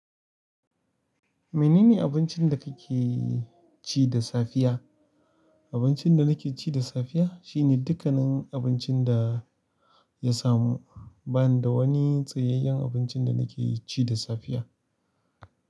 Mene ne abincin da kake ci da safiya? Abincin da nake ci da safiya shine dukkanin abincin da ya samu. Ba ni da wani tsayayyen abincin da nake ci da safiya.